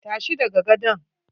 Tashi daga gadon!